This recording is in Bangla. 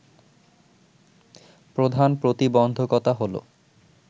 প্রধান প্রতিবন্ধকতা হলো